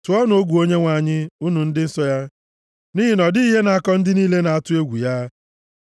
Tụọnụ egwu Onyenwe anyị, unu ndị nsọ ya, nʼihi na ọ dịghị ihe na-akọ ndị niile na-atụ egwu ya.